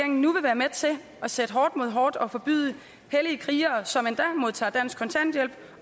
nu vil være med til at sætte hårdt mod hårdt og forbyde hellige krigere som endda modtager dansk kontanthjælp